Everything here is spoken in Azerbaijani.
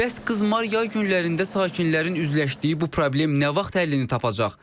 Bəs qızmar yay günlərində sakinlərin üzləşdiyi bu problem nə vaxt həllini tapacaq?